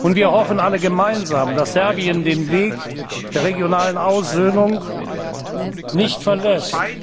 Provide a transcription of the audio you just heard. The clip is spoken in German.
Wir hoffen alle gemeinsam, dass Serbien den Weg der regionalen Aussöhnung nicht verlässt.